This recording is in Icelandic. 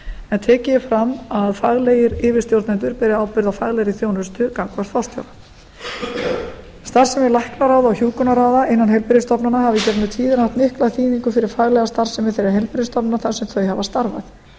en tekið er fram að faglegir yfirstjórnendur beri ábyrgð á faglegri þjónustu gagnvart forstjóra starfsemi læknaráða og hjúkrunarráða innan heilbrigðisstofnana hafa í gegnum tíðina haft mikla þýðingu fyrir faglega starfsemi þeirra heilbrigðisstofnana þar sem þau hafa starfað